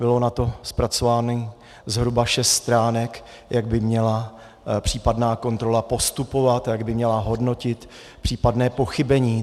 Bylo na to zpracováno zhruba šest stránek, jak by měla případná kontrola postupovat, jak by měla hodnotit případné pochybení.